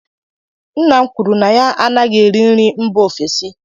Nna m kwuru na ya anaghị eri nri mba ofesi